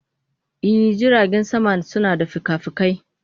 I, jiragen sama suna da fikafikai.